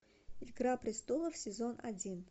игра престолов сезон один